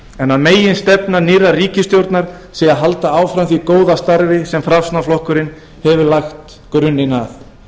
en að meginstefna nýrrar ríkisstjórnar sé að halda áfram því góða starfi sem framsóknarflokkurinn hefur lagt grunninn að